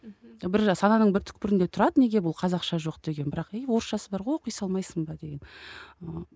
бір сананың бір түкпірінде тұрады неге бұл қазақша жоқ деген бірақ и орысшасы бар ғой оқи салмайсың ба деген ы